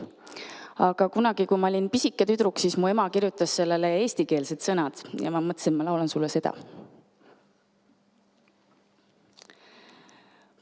Aga kunagi, kui ma olin pisike tüdruk, siis mu ema kirjutas sellele eestikeelsed sõnad ja ma mõtlesin, et ma laulan sulle seda.